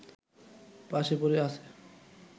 পাশে পড়ে আছে